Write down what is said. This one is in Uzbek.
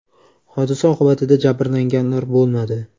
Hodisa oqibatida jabrlanganlar bo‘lmadi.